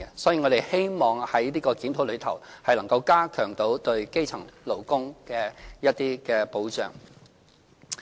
所以，我們希望這項檢討能夠加強對基層勞工的保障。